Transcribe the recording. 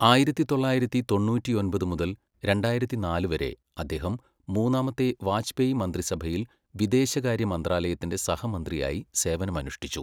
ആയിരത്തി തൊള്ളായിരത്തി തൊണ്ണൂറ്റി ഒമ്പത് മുതൽ രണ്ടായിരത്തി നാല് വരെ അദ്ദേഹം മൂന്നാമത്തെ വാജ്പേയി മന്ത്രിസഭയിൽ വിദേശകാര്യ മന്ത്രാലയത്തിന്റെ സഹമന്ത്രിയായി സേവനമനുഷ്ഠിച്ചു.